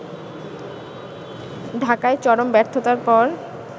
ঢাকায় চরম ব্যর্থতার পর